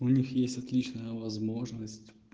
у них есть отличная возможность